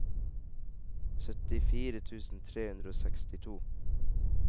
syttifire tusen tre hundre og sekstito